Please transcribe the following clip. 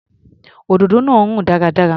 Òdòdó náà rùn dáradára.